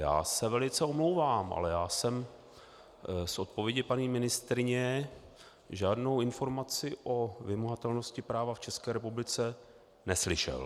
Já se velice omlouvám, ale já jsem z odpovědi paní ministryně žádnou informaci o vymahatelnosti práva v České republice neslyšel.